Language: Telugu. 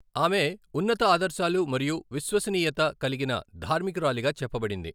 ఆమె ఉన్నత ఆదర్శాలు మరియు విశ్వసనీయత కలిగిన ధార్మికురాలిగా చెప్పబడింది.